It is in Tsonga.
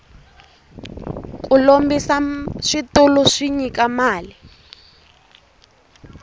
ku lombisa switulu swi nyika mali